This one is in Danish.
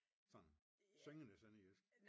Sådan syngende sønderjysk